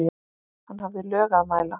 Hann hafði lög að mæla.